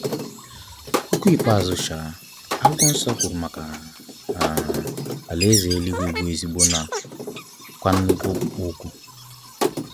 Okwu ikpeazụ um akwụkwọ nsọ kwụrụ maka um alaeze éluigwe bụ ezigbo na kwa nnukwu okpukpo ọkụ.